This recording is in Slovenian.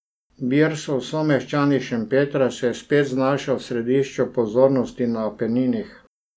Birsov someščan iz Šempetra se je spet znašel v središču pozornosti na Apeninih.